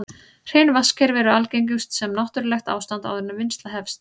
Hrein vatnskerfi eru algengust sem náttúrlegt ástand áður en vinnsla hefst.